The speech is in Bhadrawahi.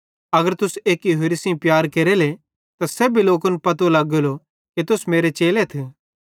अगर तुस एक्के होरि सेइं प्यार केरेले त सेब्भी लोकन पतो लग्गेलो कि तुस मेरे चेलेथ